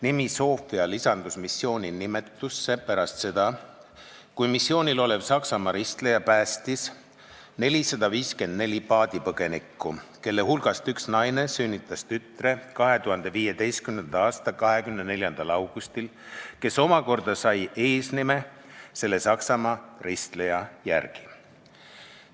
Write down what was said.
Nimi Sophia lisandus missiooni nimetusse pärast seda, kui missioonil olev Saksamaa ristleja päästis 454 paadipõgenikku, kelle hulgast üks naine sünnitas 2015. aasta 24. augustil tütre, kes omakorda sai eesnime selle Saksamaa ristleja järgi.